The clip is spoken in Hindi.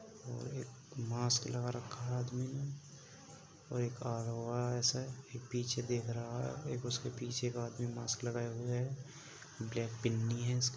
एक मास्क लगा रखा है आदमी ने और एक अरो एरेस है एक पीछे देख रहा है। एक उसके पीछे का आदमी मास्क लगाए हुए है। ब्लैक पिन्नी है उसके पास।